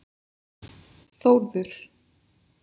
Þórður